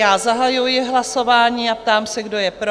Já zahajuji hlasování a ptám se, kdo je pro?